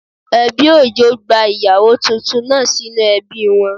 Ẹbí Òjó gba ìyàwó titun náà sínú ebí wọn